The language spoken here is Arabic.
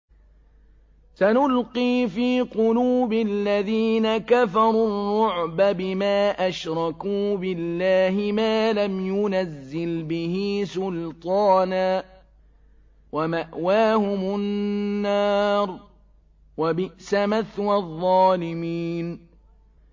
سَنُلْقِي فِي قُلُوبِ الَّذِينَ كَفَرُوا الرُّعْبَ بِمَا أَشْرَكُوا بِاللَّهِ مَا لَمْ يُنَزِّلْ بِهِ سُلْطَانًا ۖ وَمَأْوَاهُمُ النَّارُ ۚ وَبِئْسَ مَثْوَى الظَّالِمِينَ